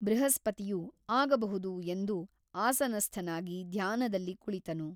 ಬೃಹಸ್ಪತಿಯು ಆಗಬಹುದು ಎಂದು ಆಸನಸ್ಥನಾಗಿ ಧ್ಯಾನದಲ್ಲಿ ಕುಳಿತನು.